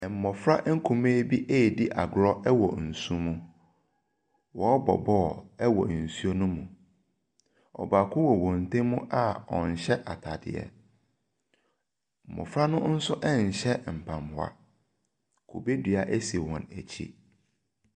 Mmɔfra nkumaa bi redi agorɔ wɔ nsu mu. Wɔrebɔ ball wɔ nsu no mu. Ɔbaako wɔ wɔn ntam a ɔnhyɛ atadeɛ. Mmɔfra no nso nhyɛ mpaboa. Kube dua si wɔn akyi.